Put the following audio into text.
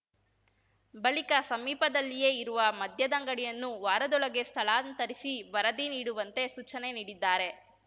ಬಳಿಕ ಸಮೀಪದಲ್ಲಿಯೇ ಇರುವ ಮದ್ಯದಂಗಡಿಯನ್ನು ವಾರದೊಳಗೆ ಸ್ಥಳಾಂತರಿಸಿ ವರದಿ ನೀಡುವಂತೆ ಸೂಚನೆ ನೀಡಿದ್ದಾರೆ